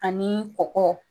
Anii kɔkɔ